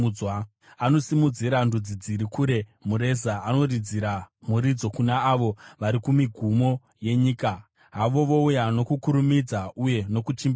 Anosimudzira ndudzi dziri kure mureza, anoridzira muridzo kuna avo vari kumigumo yenyika. Havo vouya, nokukurumidza uye nokuchimbidzika!